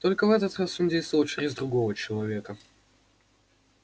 только в этот раз он действовал через другого человека